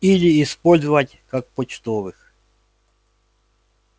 или использовать как почтовых